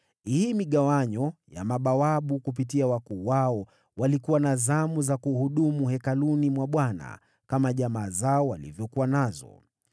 Hii migawanyo ya mabawabu, kupitia wakuu wao, walikuwa na zamu za kuhudumu hekaluni mwa Bwana kama jamaa zao walivyokuwa nazo.